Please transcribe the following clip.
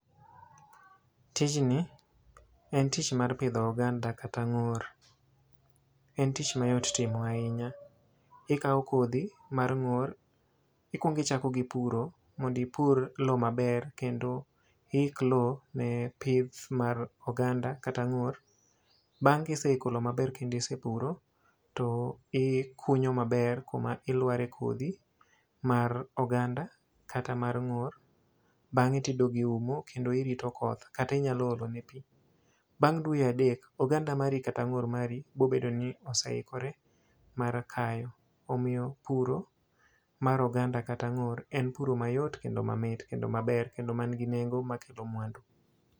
Tijni en tich mar pidho oganda kata ngór. En tich mayot timo ahinya, ikawo kodhi mar ngór, ikwongo ichako gi puro, mondo ipur lowo maber, kendo iik lowo ne pith mar oganda kata ngór. Bang' ka iseiko lowo maber kendo isepuro to ikunyo maber kuma ilware kodhi mar oganda kata mar ngór, bangé to idog iumo kendo irito koth. Kata inyalo olo ne pi. Bang' dwe adek, oganda mari kata ngór mari biro bedo ni oseikore mar kayo. Omiyo puro mar oganda kata ngór en puro mayot, kendo mamit, kendo maber, kendo manigi nengo makelo mwandu.